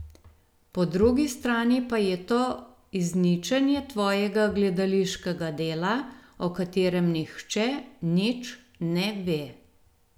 Po drugi strani pa je to izničenje tvojega gledališkega dela, o katerem nihče nič ne ve.